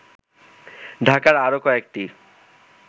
ঢাকার আরো কয়েকটি